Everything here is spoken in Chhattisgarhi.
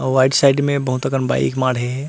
आऊ राइट साइड में बहुत अकन बाइक माड़हे हे।